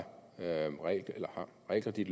det er